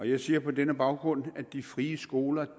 jeg siger på denne baggrund at de frie skoler